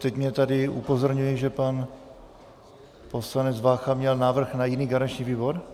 Teď mě tady upozorňují, že pan poslanec Vácha měl návrh na jiný garanční výbor?